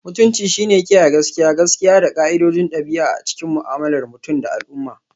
Mutunci shine kiyaye gaskiya, gaskiya, da ƙa'idodin ɗabi'a a cikin mu'amalar mutum da al'umma.